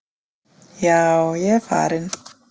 Já, ég er farinn.